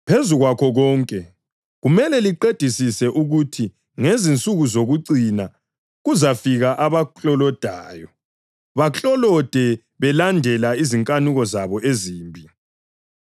Phezu kwakho konke, kumele liqedisise ukuthi ngezinsuku zokucina kuzafika abaklolodayo baklolode belandela izinkanuko zabo ezimbi.